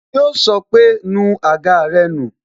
Yo sọ pé "nu àga rẹ nù"